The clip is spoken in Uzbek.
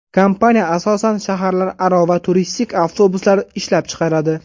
Kompaniya asosan shaharlararo va turistik avtobuslar ishlab chiqaradi.